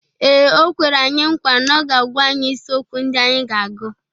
Ee, o kwere anyị nkwa na ọ ga-agwa anyị isiokwu ndị anyị ga-agụ.